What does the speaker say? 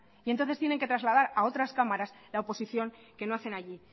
y entonces tienen que trasladar a otras cámaras la oposición que no hacen allí